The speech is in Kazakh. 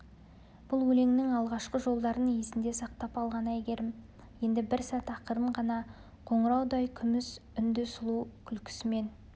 бұл өлеңнің алғашқы жолдарын есінде сақтап алған әйгерім енді бір сәт ақырын ғана қоңыраудай күміс үнді сұлу күлкісімен